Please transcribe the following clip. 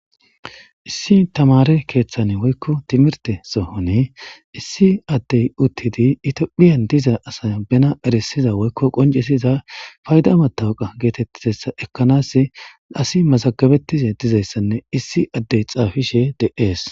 Issi tamare kethan woyko timirte sohon iss adey utidi etophiyan diza asa be erisiza woyko qoncisiza payda matoqa getetizaysa ekanas asi mazagatiza dizaysanne isdi adey xafishe de'es